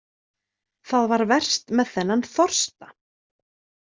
Það var verst með þennan þorsta.